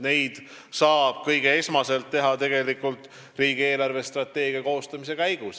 Neid saab esmalt teha riigi eelarvestrateegia koostamise käigus.